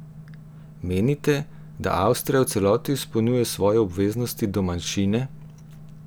Menite, da Avstrija v celoti izpolnjuje svoje obveznosti do manjšine?